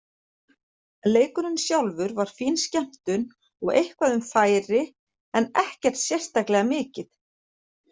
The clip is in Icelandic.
Leikurinn sjálfur var fín skemmtun og eitthvað um færi en ekkert sérstaklega mikið.